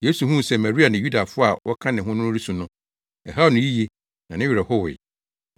Yesu huu sɛ Maria ne Yudafo a wɔka ne ho no resu no, ɛhaw no yiye na ne werɛ howee.